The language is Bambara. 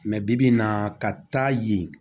bi bi in na ka taa yen